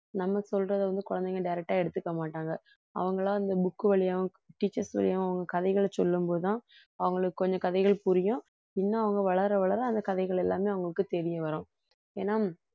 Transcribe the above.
நம்ம சொல்றத வந்து குழந்தைங்க direct ஆ எடுத்துக்கமாட்டாங்க அவங்களா இந்த book வழியாவும் teachers வழியாயும் அவங்க கதைகளை சொல்லும் போதுதான் அவங்களுக்கு கொஞ்சம் கதைகள் புரியும், இன்னும் அவங்க வளர வளர அந்த கதைகள் எல்லாமே அவங்களுக்கு தெரிய வரும் ஏன்னா